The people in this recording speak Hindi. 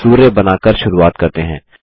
सूर्य बना कर शुरूवात करते हैं